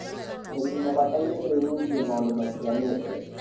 arĩmi nĩmabataire gũĩbudithia maũndũ matiganĩte